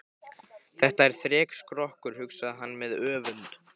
Þetta er þrekskrokkur, hugsaði hann með öfund.